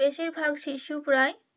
বেশির ভাগ শিশু প্রায়,